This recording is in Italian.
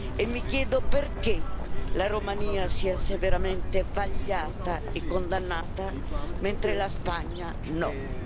E mi chiedo perché la Romania sia severamente vagliata e condannata, mentre la Spagna no.